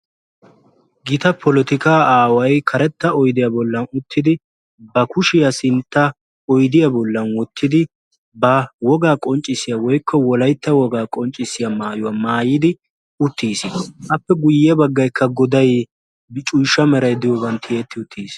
Gita polotikaa aaway karetta oydiya bollan uttidi ba kushiya sintta oydiya bollan wottidi ba wogaa qonccissiya/wolaytta wogaa qonccissiya maayuwa maayidi uttiis. Appe guyye baggaykka goday ciishsha meray diyogan tiyetti uttiis.